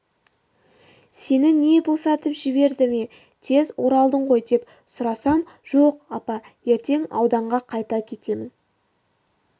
сені не босатып жіберді ме тез оралдың ғой деп сұрасам жоқ апа ертең ауданға қайта кетемін